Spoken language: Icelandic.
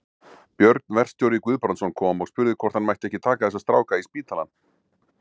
Björn verkstjóri Guðbrandsson kom og spurði hvort hann mætti ekki taka þessa stráka í spítalann.